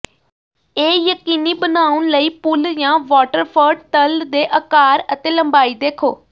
ਇਹ ਯਕੀਨੀ ਬਣਾਉਣ ਲਈ ਪੂਲ ਜਾਂ ਵਾਟਰਫਰਟ ਤਲ ਦੇ ਆਕਾਰ ਅਤੇ ਲੰਬਾਈ ਦੇਖੋ